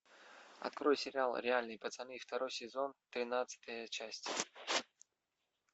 открой сериал реальные пацаны второй сезон тринадцатая часть